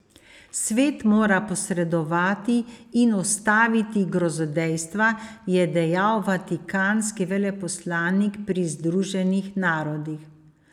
Svet mora posredovati in ustaviti grozodejstva, je dejal vatikanski veleposlanik pri Združenih narodih.